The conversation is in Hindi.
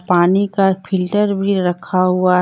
पानी का फिल्टर भी रखा हुआ है।